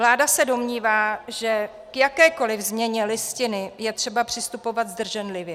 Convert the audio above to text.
Vláda se domnívá, že k jakékoliv změně Listiny je třeba přistupovat zdrženlivě.